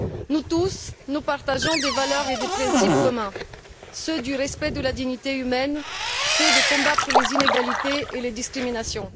Nous tous, nous partageons des valeurs et des principes communs ceux du respect de la dignité humaine, ceux de la lutte contre les inégalités et les discriminations.